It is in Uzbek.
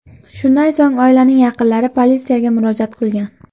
Shundan so‘ng oilaning yaqinlari politsiyaga murojaat qilgan.